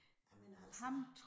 Ej men altså